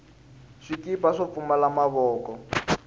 swikipa swo pfumala mavoko